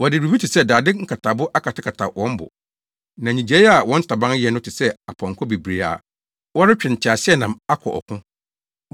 Wɔde biribi te sɛ dade nkatabo akatakata wɔn bo. Na nnyigyei a wɔn ntaban yɛ no te sɛ apɔnkɔ bebree a wɔretwe nteaseɛnam akɔ ɔko.